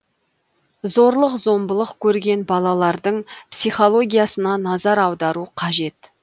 зорлық зомбылық көрген балалардың психологиясына назар аудару қажет